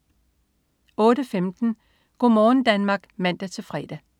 08.15 Go' morgen Danmark (man-fre)